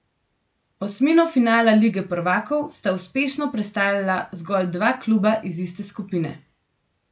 Osmino finala lige prvakov sta uspešno prestala zgolj dva kluba iz iste skupine.